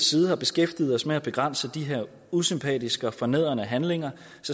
side har beskæftiget os med at begrænse de her usympatiske og fornedrende handlinger